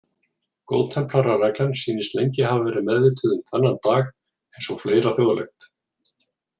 Góðtemplarareglan sýnist lengi hafa verið meðvituð um þennan dag eins og fleira þjóðlegt.